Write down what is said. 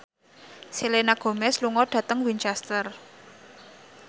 Selena Gomez lunga dhateng Winchester